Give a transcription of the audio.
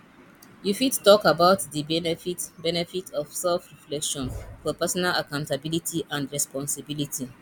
you fit talk about di benefits benefits of selfreflection for personal accountability and responsibility